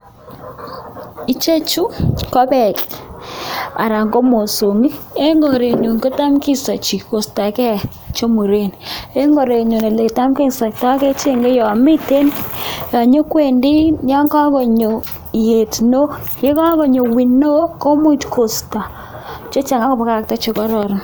Ichechu ko beek anan ko mosongik, eng korenyun kotam kisachi koistoken che muren, eng korenyun oletam kesaktoi kechenge yon mitei, yon nyokwendi, yon kakonyo ietuno, ye kakonyo wino komuch koisto cheche ako pakakta che korororon.